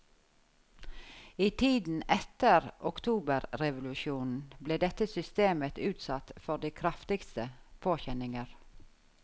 I tiden etter oktoberrevolusjonen ble dette systemet utsatt for de kraftigste påkjenninger.